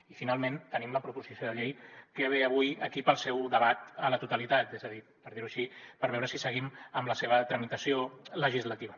i finalment tenim la proposició de llei que ve avui aquí per al seu debat a la totalitat és a dir per dir ho així per veure si seguim amb la seva tramitació legislativa